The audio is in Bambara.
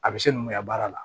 A bɛ se mun mɛ ka baara la